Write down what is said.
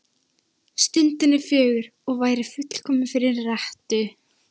Stundin er fögur og væri fullkomin fyrir rettu.